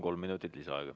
Kolm minutit lisaaega.